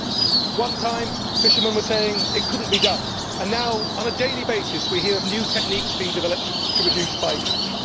At one time fishermen were saying it could not be done and now, on a daily basis, we hear of new techniques being developed to reduce by catch.